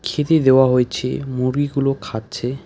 খেতে দেয়া হয়েছে মুরগিগুলো খাচ্ছে।